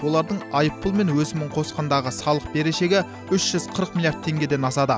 олардың айыппұл мен өсімін қосқандағы салық берешегі үш жүз қырық миллиард теңгеден асады